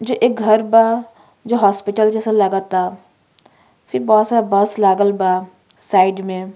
जो एक घर बा जो हॉस्पिटल जइसन लागता। बहोत सारा बस लागल बा साइड में।